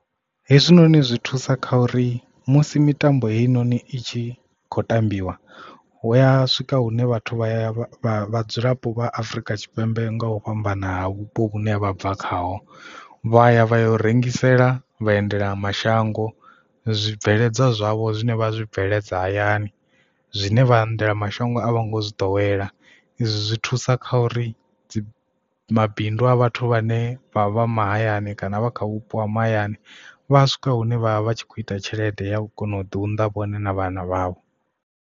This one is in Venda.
Hezwinoni zwi thusa kha uri musi mitambo heinoni i tshi khou tambiwa hu ya swika hune vhathu vha ya vhadzulapo vha Afrika Tshipembe nga u fhambana ha vhupo hune vha bva khayo vha ya vha ya u rengisela vhaendela mashango zwibveledzwa zwavho zwine vha zwi bveledza hayani zwine vha endela mashango a vho ngo zwi ḓowela izwi zwi thusa kha uri mabindu a vhathu vhane vha vha mahayani kana vha kha vhupo ha mahayani vha a swika hune vha vha tshi kho ita tshelede ya kona u ḓi unḓa vhone na vhana vhavho.